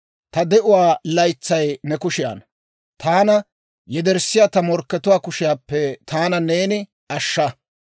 Ta de'uwaa laytsay ne kushiyaanna. Taana yederssiyaa ta morkkatuwaa kushiyaappe taana neeni ashsha.